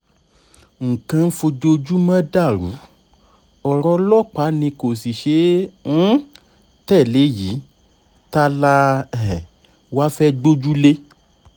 nǹkan ń fojoojúmọ́ dàrú ọ̀rọ̀ ọlọ́pàá ni kò sì ṣeé um tẹ̀lé yìí ta la um wá fẹ́ gbójúlé